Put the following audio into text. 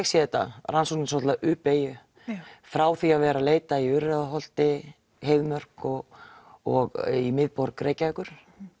sé þetta rannsóknin dálitla u beygju frá því að vera að leita í Urriðaholti Heiðmörk og og í miðborg Reykjavíkur